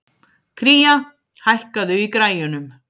Kría, hækkaðu í græjunum.